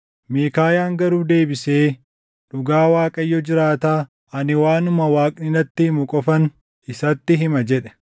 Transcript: Miikaayaan garuu deebisee, “Dhugaa Waaqayyo jiraataa, ani waanuma Waaqni natti himu qofan isatti hima” jedhe.